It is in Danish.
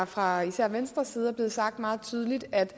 fra især venstres side er blevet sagt meget tydeligt at